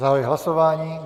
Zahajuji hlasování.